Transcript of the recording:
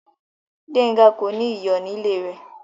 Gbẹnga kò ní iyọ̀ ní ilẹ̀ rẹ.